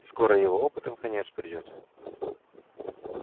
скоро его опытам конец придёт